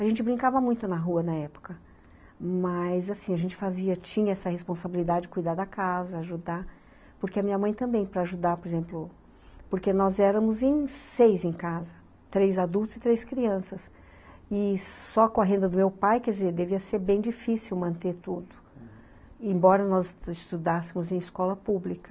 A gente brincava muito na rua na época, mas assim, a gente fazia, tinha essa responsabilidade de cuidar da casa, ajudar, porque a minha mãe também para ajudar, por exemplo, porque nós éramos em seis em casa, três adultos e três crianças, e só com a renda do meu pai, quer dizer, devia ser bem difícil manter tudo, embora nós estudássemos em escola pública.